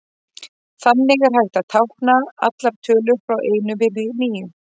Þannig er hægt að tákna allar tölur frá einum upp í níu.